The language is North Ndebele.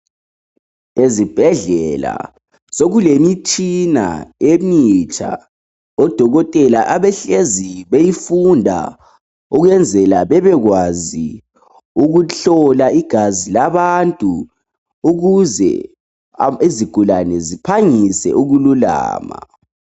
Ezibhedlela sokulemitshina emitsha odokotela abahlezi beyifunda ukwenzela babekwazi ukuhlola igazi labantu ukuze izigulane ziphangise ukululama.